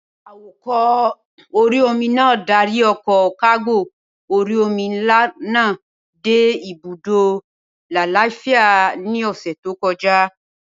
Awakọ̀ orí-omi náà dárí ọkọ̀ kágò orí-omi nlá náà dé ibùdó lálàáfíà ní ọ̀sẹ̀ tó kọjá